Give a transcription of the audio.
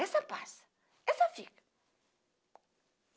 Essa passa, essa fica.